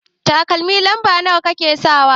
Takalmi lamba nawa kike sakawa?